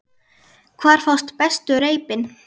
Hvar fást bestu reipin?